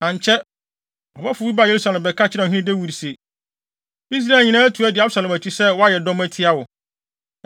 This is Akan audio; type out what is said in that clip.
Ankyɛ, ɔbɔfo bi baa Yerusalem bɛka kyerɛɛ ɔhene Dawid se, “Israel nyinaa atu di Absalom akyi sɛ wɔayɛ adɔm atia wo.”